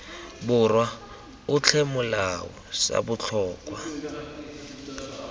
borwa otlhe molao sa botlhokwa